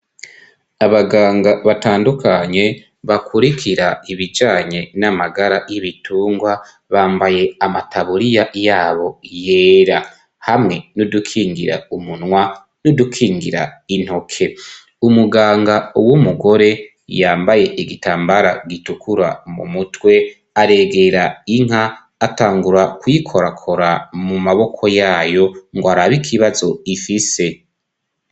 Abaganga batandukanye bakurikira ibijanye n'amagara y'ibitungwa ,bambaye amataburiya yabo yera .Hamwe n'udukingira umunwa ,n'udukingira intoke ,umuganga w'umugore yambaye igitambara gitukura mu mutwe ,aregera inka atangura kuyikorakora mu maboko yayo ngo araba ikibazo ifise,